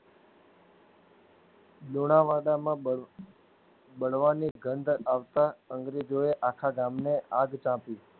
દોડા વાડામાં બળ બાળવાની ગંધ આવતા અંગ્રેજોએ આખાગામને આગ તાપી